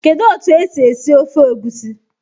Kedu otu esi esi esi ofe Egusi?